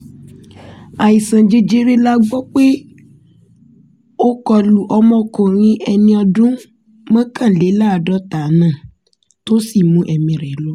àìsàn jẹjẹrẹ la gbọ́ pé ó kọ lu ọmọkùnrin ẹni ọdún mọ́kànléláàádọ́ta náà tó sì mú ẹ̀mí rẹ̀ lọ